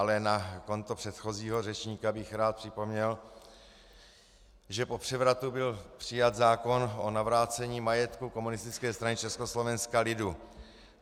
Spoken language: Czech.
Ale na konto předchozího řečníka bych rád připomněl, že po převratu byl přijat zákon o navrácení majetku Komunistické strany Československa lidu.